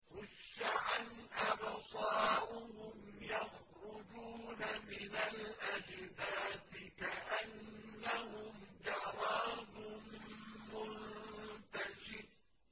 خُشَّعًا أَبْصَارُهُمْ يَخْرُجُونَ مِنَ الْأَجْدَاثِ كَأَنَّهُمْ جَرَادٌ مُّنتَشِرٌ